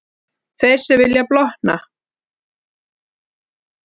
Þeir sem vilja blotna.